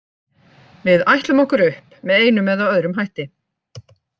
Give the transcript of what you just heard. Við ætlum okkur upp með einum eða öðrum hætti.